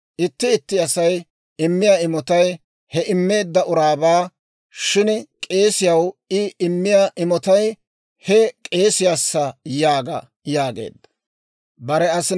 Itti itti Asay immiyaa imotay he immeedda uraabaa; shin k'eesiyaw I immiyaa imotay he k'eesiyaassa› yaaga» yaageedda.